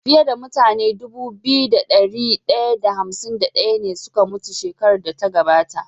Fiya da mutane Dubu biyu da dari daya da hamsin da daya ne suka mutu shekarar da ta gabata